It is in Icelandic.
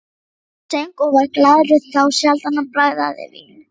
Hann söng og var glaður, þá sjaldan hann bragðaði vín.